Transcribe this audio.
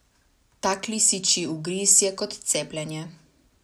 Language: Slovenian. Tak lisičji ugriz je kot cepljenje.